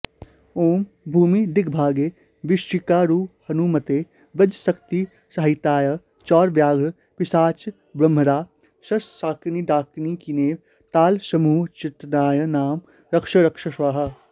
ॐ भूमिदिग्भागे वृश्चिकारूढहनुमते वज्रशक्तिसहिताय चौरव्याघ्र पिशाचब्रह्मराक्षसशाकिनीडाकिनीवेतालसमूहोच्चाटनाय मां रक्ष रक्ष स्वाहा